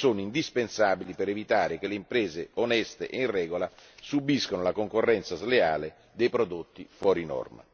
indispensabili per evitare che le imprese oneste e in regola subiscano la concorrenza sleale di prodotti fuori norma.